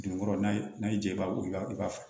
Dunkɔrɔ n'a y'i diya i b'a bɔ o la i b'a fa